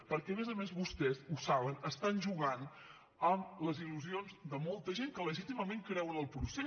perquè a més a més vostès ho saben estan jugant amb les il·lusions de molta gent que legítimament creu en el procés